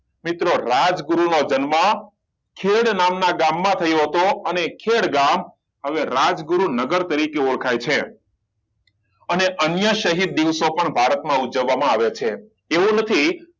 મિત્રો રાજગુરુ નો જન્મ ખેડ નામના ગામ માં થયો હતો અને એ ખેડ ગામ હવે રાજગુરુનગર તરીકે ઓળખાય છે અને અન્ય શહીદ દિવસો પણ ભારત માં ઉજવવામાં આવે છે તેવું નથી